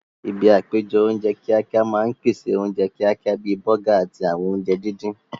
Ibi àpéjọ oúnjẹ kíákíá máa ń pèsè oúnjẹ kíákíá bíi bọ́gà àti àwọn oúnjẹ díndín